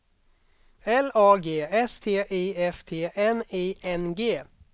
L A G S T I F T N I N G